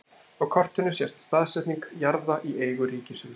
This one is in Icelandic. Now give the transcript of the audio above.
Á kortinu sést staðsetning jarða í eigu ríkissjóðs.